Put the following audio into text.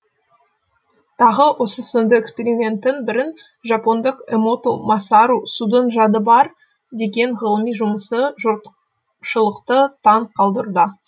тағы осы сынды эксперименттің бірін жапондық эмоту масару судың жады бар деген ғылыми жұмысы жұртшылықты таң қалдырды